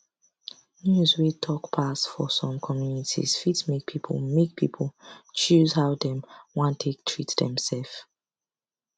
news wey talk pass for some communities fit make people make people choose how dem wan take treat demself